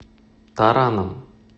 тараном